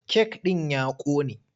Kek ɗin ya ƙone.